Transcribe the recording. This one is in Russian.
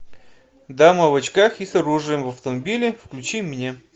дама в очках и с оружием в автомобиле включи мне